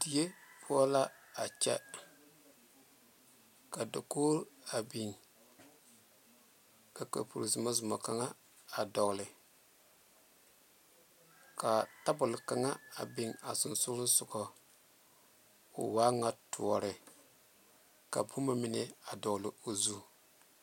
Die poɔ la a kyɛ ka dakogi a biŋ ka kapuro zɔmazɔma kaŋa a dogle ka tabol kaŋa a biŋ ba sonsogle soga o waa ŋa tɔɔre ka boma mine a dogle o zu.